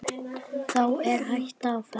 Þá er hætta á ferð.